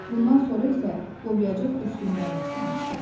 Bundan sonra isə Lobyacıq öskürməyə başlamışdı.